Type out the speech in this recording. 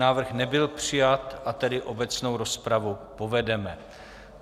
Návrh nebyl přijat, a tedy obecnou rozpravu povedeme.